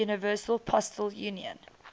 universal postal union